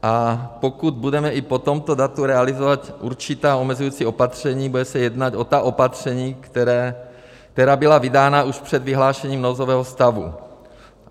A pokud budeme i po tomto datu realizovat určitá omezující opatření, bude se jednat o ta opatření, která byla vydána už před vyhlášením nouzového stavu.